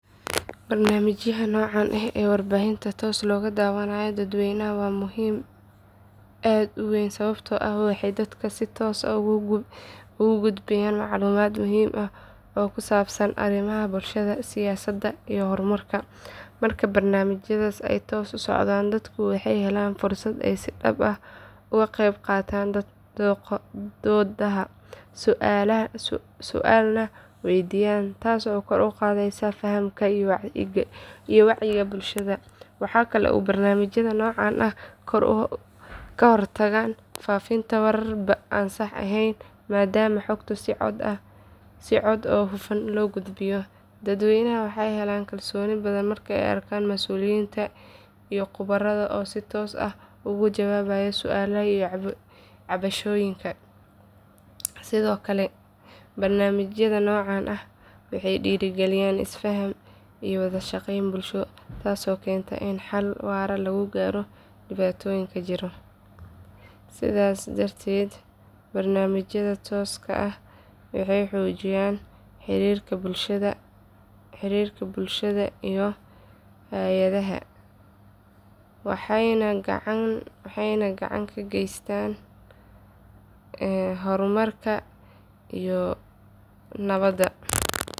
Barnaamijyada noocaan ah ee warbaahinta toos looga daawanayo dadweynaha waa muhiim aad u weyn sababtoo ah waxay dadka si toos ah ugu gudbiyaan macluumaad muhiim ah oo ku saabsan arrimaha bulshada, siyaasadda iyo horumarka. Marka barnaamijyadaasi ay toos u socdaan, dadku waxay helaan fursad ay si dhab ah uga qayb qaataan doodaha, su’aalna waydiiyaan, taasoo kor u qaadaysa fahamka iyo wacyiga bulshada. Waxa kale oo barnaamijyada noocan ahi ka hortagaan faafinta warar aan sax ahayn maadaama xogtu si cad oo hufan loo gudbiyo. Dadweynaha waxay helaan kalsooni badan marka ay arkaan mas’uuliyiinta iyo khubarada oo si toos ah uga jawaabaya su’aalaha iyo cabashooyinka. Sidoo kale barnaamijyada noocan ah waxay dhiirrigeliyaan isfaham iyo wada shaqeyn bulsho taasoo keenta in xal waara laga gaaro dhibaatooyinka jira. Sidaas darteed, barnaamijyada tooska ah waxay xoojiyaan xiriirka bulshada iyo hay’adaha, waxayna gacan ka geystaan horumarka iyo nabadda.